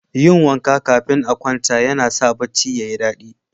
Yin wanka kafin a kwanta yana sa barci ya yi dadi.